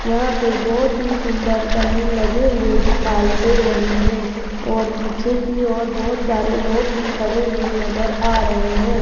यहां पर बहोत ही सुंदर बैलून लगे हुए दिखाई दे रहे हैं और पीछे की ओर बहोत सारे लोग भी खड़े हुए नजर आ रहे हैं।